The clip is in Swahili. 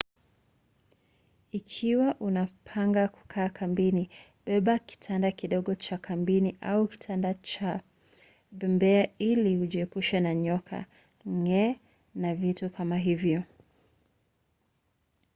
ikiwa unapanga kukaa kambini beba kitanda kidogo cha kambini au kitanda cha bembea ili ujiepushe na nyoka nge na vitu kama hivyo